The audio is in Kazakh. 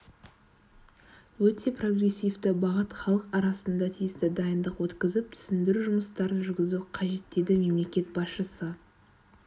өте прогрессивті бағыт халық арасында тиісті дайындық өткізіп түсіндіру жұмыстарын жүргізу қажет деді мемлекет басшысы